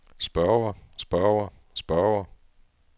spørger spørger spørger